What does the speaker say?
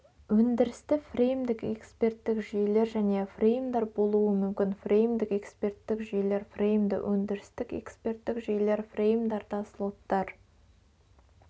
өндірісті фреймдік экспертік жүйелер және фреймдар болуы мүмкін фреймдік экспертік жүйелер фреймді-өндірістік эксперттік жүйелер фреймдарда слоттар